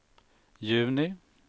juni